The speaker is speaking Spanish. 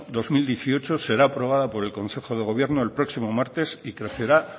dos mil dieciocho será aprobada por el consejo de gobierno el próximo martes y crecerá